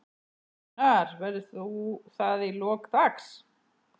Gunnar: Verður þú það í lok dags?